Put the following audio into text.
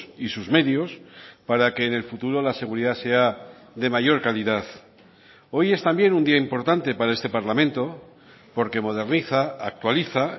y sus medios para que en el futuro la seguridad sea de mayor calidad hoy es también un día importante para este parlamento porque moderniza actualiza